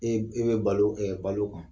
E bɛ balo balo kan